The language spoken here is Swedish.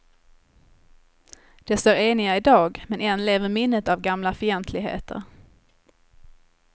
De står eniga i dag men än lever minnet av gamla fientligheter.